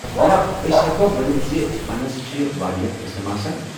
جناب، أسۍ ہٮ۪کوا ؤنتھ زِ فنس چھِ واریاہ قٕسٕم آسان۔